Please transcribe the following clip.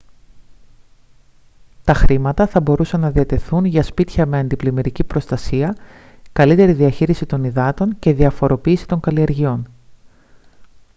τα χρήματα θα μπορούσαν να διατεθούν για σπίτια με αντιπλημμυρική προστασία καλύτερη διαχείριση των υδάτων και διαφοροποίηση των καλλιεργειών